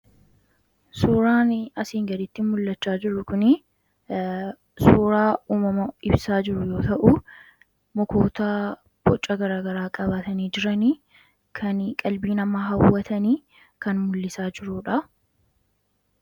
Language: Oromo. Suuraani asii gaditti mul'achaa jiru kunii suuraa uumama ibsaa jiru yoo ta'uu mukootaa boca garaa garaa qabaatanii jiranii, kan qalbii namaa hawwatanii kan muul'isaa jiruudhaa.